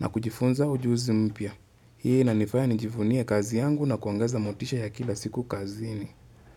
na kujifunza ujuzi mpya. Hii inanifanya nijifunie kazi yangu na kuongeza motisha ya kila siku kazini.